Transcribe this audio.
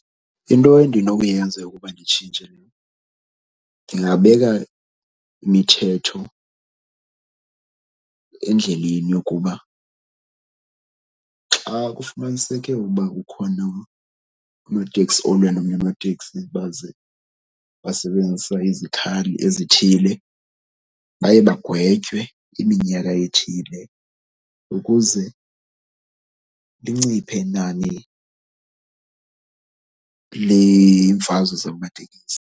Into endinokuyenza ukuba nditshintshe ndingabeka imithetho endleleni yokuba xa kufumaniseke uba ukhona unoteksi olwe nomnye unoteksi baze basebenzisa izikhali ezithile baye bagwetywe iminyaka ethile ukuze linciphe inani lemfazwe zamatekisi.